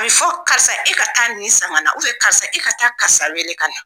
A bɛ fɔ karisa, e ka taa nin san ka na karisa, e ka taa karisa wele ka na.